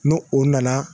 N'o o nana